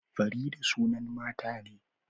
Farida sunan mata ne